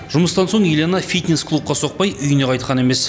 жұмыстан соң елена фитнес клубқа соқпай үйіне қайтқан емес